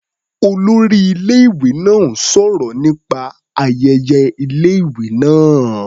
Olórí ilé-ìwé náà ń sọ̀rọ̀ nípa ayẹyẹ ilé-ìwé náá.